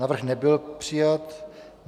Návrh nebyl přijat.